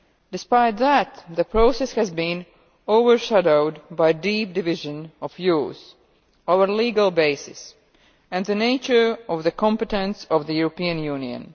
Despite that, the process has been overshadowed by a deep division of views over the legal basis and the nature of the competence of the European Union.